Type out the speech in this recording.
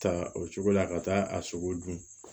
Ta o cogo la ka taa a sogo dun